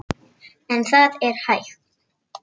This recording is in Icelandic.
En það er hægt.